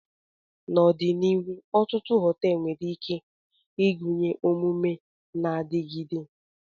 N'ọdịnihu, ọtụtụ họteelu nwere ike ịgụnye omume na-adigide.